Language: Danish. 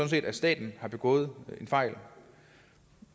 set at staten har begået en fejl